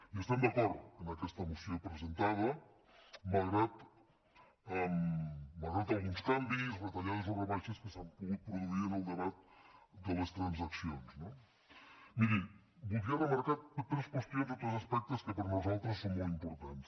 hi estem d’acord amb aquesta moció presentada malgrat alguns canvis retallades o rebaixes que s’han pogut produir en el debat de les transaccions no miri voldria remarcar tres qüestions o tres aspectes que per nosaltres són molt importants